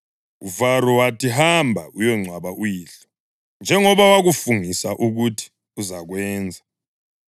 UFaro wathi, “Hamba uyongcwaba uyihlo, njengoba wakufungisa ukuthi uzakwenza.”